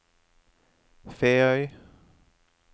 Feøy